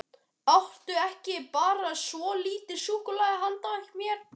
Áttu ekki bara svolítið súkkulaði handa mér?